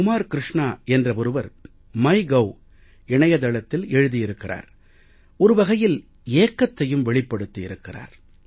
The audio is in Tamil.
குமார் க்ருஷ்ணா என்ற ஒருவர் மைகோவ் இணையதளத்தில் எழுதி இருக்கிறார் ஒரு வகையில் ஏக்கத்தையும் வெளிப்படுத்தி இருக்கிறார்